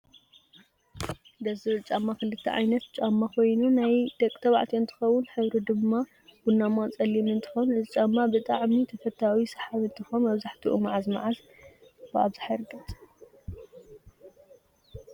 ደስ ዝብል ጫማ ክልተ ዓይነት ጫማ ኮይኑ ናይ ደቂ ተባዕትዮ እንትከውን ሕብሪ ድማ ቡናማ፣ ፀሊም እንትከውን እዚ ጫማ ብጣዓሚ ተፈታዊ ሰሓቢ እንትከውን መብዛሕተኡ መዓዝ መዓዝ ብኣብዛሓ ይርገፅ?